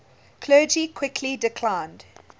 clergy quickly declined